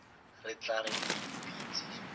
re tla re ke dipitsi